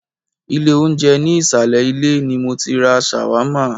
Ilé oúnjẹ ní ìsàlẹ̀ ilé ni mọ tí ra ṣàwámà.